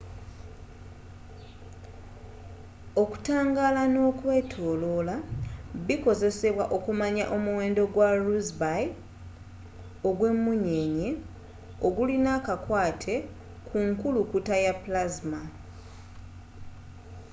okutangaala n'okwetoloola bikozesebwa okumanya omuwendo gwa rossby ogw'emmunyeenye ogulina akakwate ku nkukulukuta ya plasma